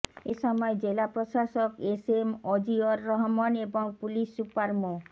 এ সময় জেলা প্রশাসক এস এম অজিয়র রহমান এবং পুলিশ সুপার মো